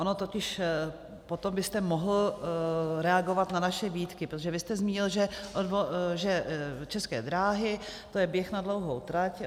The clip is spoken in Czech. Ono totiž potom byste mohl reagovat na naše výtky, protože vy jste zmínil, že České dráhy, to je běh na dlouhou trať.